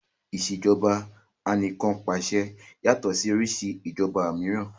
Ìṣèjoba Anìkànpàṣẹ yàtọ̀ sí oríṣi ìṣèjoba mìíràn